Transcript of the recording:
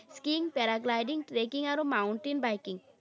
Skiing, paragliding, trekking আৰু mountain biking